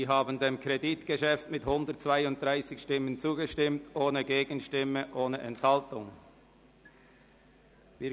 Sie haben dem Kredit mit 132 Ja-Stimmen ohne Gegenstimmen und ohne Enthaltungen zugestimmt.